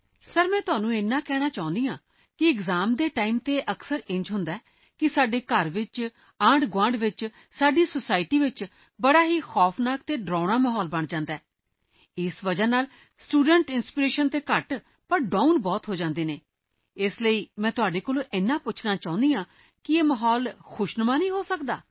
sir ਮੈਂ ਤੁਹਾਨੂੰ ਇੰਨਾ ਕਹਿਣਾ ਚਾਹੁੰਦੀ ਹਾਂ ਕਿ ਐਕਸਾਮਜ਼ ਦੇ ਟਾਈਮ ਤੇ ਅਕਸਰ ਅਜਿਹਾ ਹੁੰਦਾ ਹੈ ਕਿ ਸਾਡੇ ਘਰ ਵਿੱਚ ਆਂਢਗੁਆਂਢ ਵਿੱਚ ਸਾਡੀ ਸੋਸਾਇਟੀ ਵਿੱਚ ਬਹੁਤ ਹੀ ਖ਼ੌਫ਼ਨਾਕ ਅਤੇ ਡਰਾਉਣਾ ਮਾਹੌਲ ਬਣ ਜਾਂਦਾ ਹੈ ਇਸ ਕਾਰਨ ਨਾਲ ਸਟੂਡੈਂਟ ਇੰਸਪੀਰੇਸ਼ਨ ਤਾਂ ਘੱਟ ਪਰ ਡਾਊਨ ਬਹੁਤ ਹੋ ਜਾਂਦੇ ਹਨ ਤਾਂ ਮੈਂ ਤੁਹਾਨੂੰ ਇੰਨਾ ਪੁੱਛਣਾ ਚਾਹੁੰਦੀ ਹਾਂ ਕਿ ਕੀ ਇਹ ਮਾਹੌਲ ਖੁਸ਼ਨੁਮਾ ਨਹੀਂ ਹੋ ਸਕਦਾ